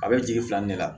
A bɛ jigi filan ne la